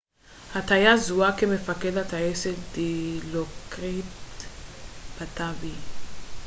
הטייס זוהה כמפקד הטייסת דילוקריט פאטאבי